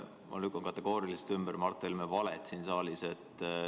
Ma lükkan kategooriliselt ümber Mart Helme valed siin saalis.